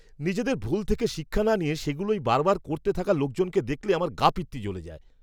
নিজেদের ভুল থেকে শিক্ষা না নিয়ে সেগুলোই বারবার করতে থাকা লোকজনকে দেখলে আমার গা পিত্তি জ্বলে যায়!